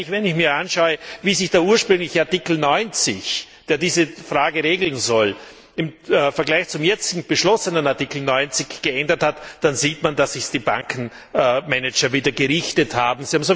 Wenn ich mir nur anschaue, wie sich der ursprüngliche Artikel 90, der diese Frage regeln soll, im Vergleich zu dem jetzt beschlossenen Artikel 90 geändert hat, dann sieht man, dass es sich die Bankmanager wieder gerichtet haben.